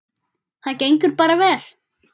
Það gengur bara vel.